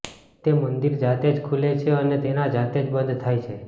તે મંદિર જાતે જ ખુલે છે અને તેના જાતે જ બંધ થાય છે